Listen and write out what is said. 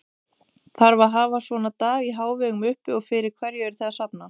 Þarf að hafa svona dag í hávegum uppi og fyrir hverju eruð þið að safna?